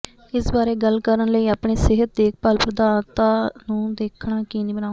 ਇਸ ਬਾਰੇ ਗੱਲ ਕਰਨ ਲਈ ਆਪਣੇ ਸਿਹਤ ਦੇਖਭਾਲ ਪ੍ਰਦਾਤਾ ਨੂੰ ਦੇਖਣਾ ਯਕੀਨੀ ਬਣਾਓ